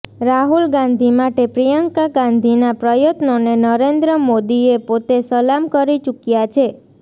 રાહુલ ગાંધી માટે પ્રિયંકા ગાંધીના પ્રયત્નોને નરેન્દ્ર મોદીએ પોતે સલામ કરી ચૂક્યાં છે